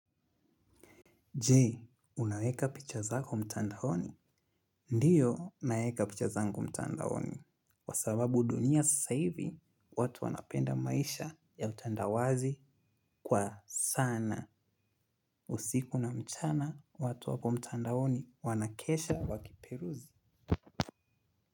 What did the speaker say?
Jee, unaweka picha zako mtandaoni? Ndiyo, naeka picha zangu mtandaoni kwa sababu dunia sasa hivi, watu wanapenda maisha ya utandawazi kwa sana. Usiku na mchana, watu wako mtandaoni wanakesha wakiperuzi.